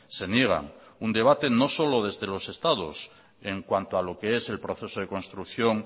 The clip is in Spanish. se niegan un debate no solo desde los estados en cuanto a lo que es el proceso de construcción